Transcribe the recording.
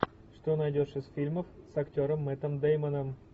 что найдешь из фильмов с актером мэттом дэймоном